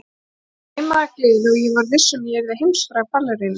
Mig svimaði af gleði og ég var viss um að ég yrði heimsfræg ballerína.